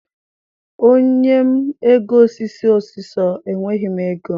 Onye m ego ọsịsọ ọsịsọ, enweghị m oge.